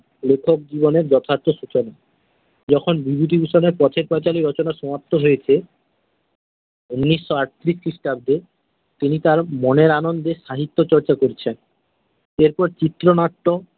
লেখক জীবনের যথার্থ সূচনা। যখন বিভূতিভূষণের পথের পাঁচালী রচনা সমাপ্ত হয়েছে ঊনিশশো আটত্রিশ খ্রিস্টাব্দে তিনি তার মনের আনন্দে সাহিত্য চর্চা করছেন। এরপর চিত্রনাট্য।